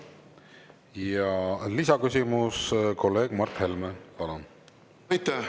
Ja lisaküsimus, kolleeg Mart Helme, palun!